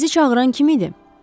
Sizi çağıran kim idi?